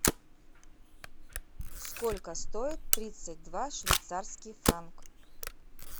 сколько стоит тридцать два швейцарский франк